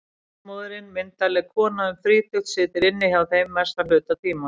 Ljósmóðirin, myndarleg kona um þrítugt, situr inni hjá þeim mestan hluta tímans.